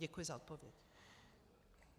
Děkuji za odpověď.